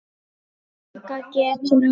Ganga getur átt við